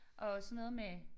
Og også sådan noget med